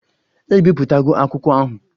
Ebipụtago akwụkwọ ahụ?